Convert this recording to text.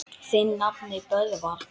Þinn nafni, Böðvar.